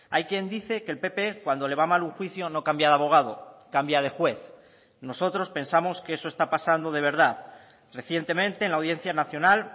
hay quien dice que el pp cuando le va mal un juicio no cambia de abogado cambia de juez nosotros pensamos que eso está pasando de verdad recientemente en la audiencia nacional